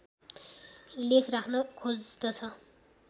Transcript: लेख राख्न खोज्दछ